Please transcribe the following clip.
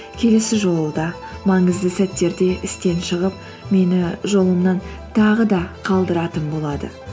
келесі жолы да маңызды сәттерде істен шығып мені жолымнан тағы да қалдыратын болады